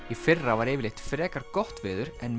í fyrra var frekar gott veður en